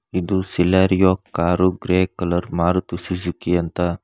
ಇದು Celerio car grey colour Maruti Suzuki ಅಂತ.